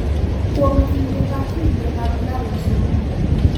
Kuom kinde ka kinde mag ndalo somo.